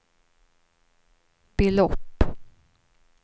belopp